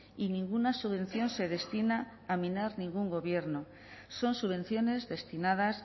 y ninguna subvención se destina a minar ningún gobierno son subvenciones destinadas